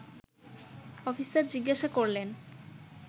officer জিজ্ঞাসা করলেন